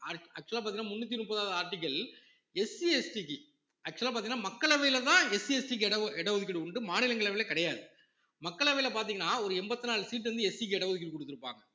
act~ actual ஆ பார்த்தீங்கன்னா முன்னூத்தி முப்பதாவது articleSCST க்கு actual ஆ பார்த்தீங்கன்னா மக்களவையிலதான் SCST க்கு இட ஓ~ இட ஒதுக்கீடு உண்டு மாநிலங்களவையில கிடையாது மக்களவையில பார்த்தீங்கன்னா ஒரு எண்பத்தி நாலு seat வந்து SC க்கு இட ஒதுக்கீடு கொடுத்திருப்பாங்க